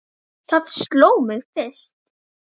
Það sló mig fyrst.